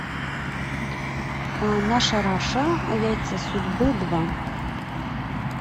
наша раша яйца судьбы два